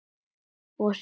Músíkin varð falleg.